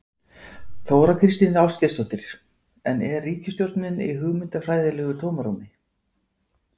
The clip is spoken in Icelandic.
Þóra Kristín Ásgeirsdóttir: En er ríkisstjórnin í hugmyndafræðilegu tómarúmi?